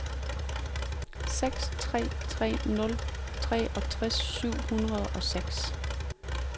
seks tre tre nul treogtres syv hundrede og seks